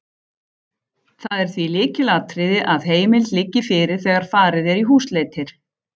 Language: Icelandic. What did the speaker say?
Það er því lykilatriði að heimild liggi fyrir þegar farið er í húsleitir.